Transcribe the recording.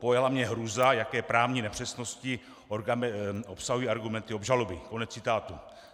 Pojala mě hrůza, jaké právní nepřesnosti obsahují argumenty obžaloby."